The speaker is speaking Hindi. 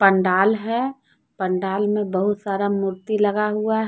पंडाल है पंडाल में बहुत सारा मूर्ति लगा हुआ--